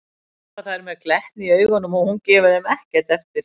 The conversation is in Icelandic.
æpa þær með glettni í augunum og hún gefur þeim ekkert eftir.